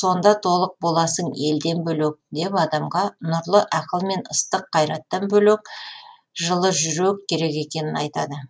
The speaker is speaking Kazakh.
сонда толық боласың елден бөлек деп адамға нұрлы ақыл мен ыстық қайраттан бөлек жылы жүрек керек екенін айтады